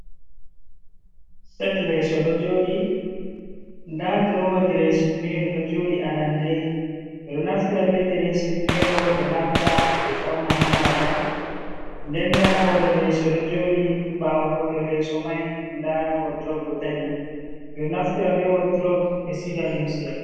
Set leeso ɗo jooɗi, ndaa durowa diresin miiro ɗo jooɗi arande. Ɓeɗo naftira be diressin miiro ɓe larta ɓe fauna hamaaga. Nden nda hoore leeso ɗo jooɗi ɓawo hoore leesomai nda woddurop ɗo dari. Ɓeɗo naftira be woddurob ɓe siiga liimse.